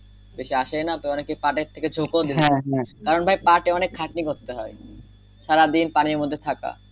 বেশি আসেও না অনেকে পাঠের দিকে চোখ ও দিচ্ছে না কারন ভাই পাঠে অনেকে খাটনি করতে হয় সারাদিন পানির মধ্যে থাকা